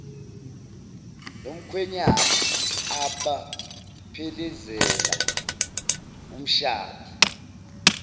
nomkhwenyana abaphelezela umshadi